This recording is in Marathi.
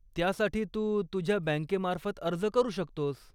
त्यासाठी तू तुझ्या बँकेमार्फत अर्ज करू शकतोस.